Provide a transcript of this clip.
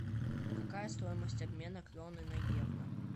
какая стоимость обмена кроны на евро